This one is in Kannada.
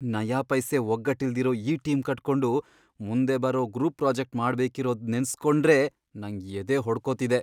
ನಯಾಪೈಸೆ ಒಗ್ಗಟ್ಟಿಲ್ದಿರೋ ಈ ಟೀಮ್ ಕಟ್ಕೊಂಡು ಮುಂದೆ ಬರೋ ಗ್ರೂಪ್ ಪ್ರಾಜೆಕ್ಟ್ ಮಾಡ್ಬೇಕಿರೋದ್ ನೆನ್ಸ್ಕೊಂಡ್ರೇ ನಂಗ್ ಎದೆ ಹೊಡ್ಕೊತಿದೆ.